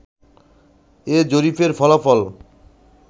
এ জরিপের ফলাফল